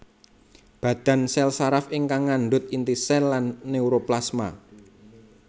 Badan sèl saraf ingkang ngandhut inti sèl lan neuroplasma